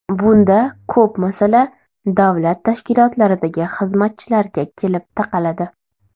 Bunda ko‘p masala davlat tashkilotlaridagi xizmatchilarga kelib taqaladi.